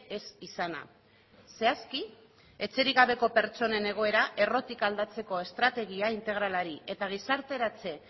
ez izana zehazki etxerik gabeko pertsonen egoera errotik aldatzeko estrategia integralari eta gizarteratze